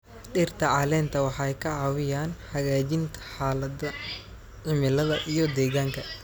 Dhirta caleenta waxay ka caawiyaan hagaajinta xaaladda cimilada iyo deegaanka.